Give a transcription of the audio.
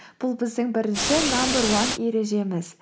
бұл біздің бірінші намбер уан ережеміз